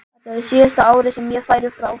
Þetta verður síðasta árið sem ég færi frá.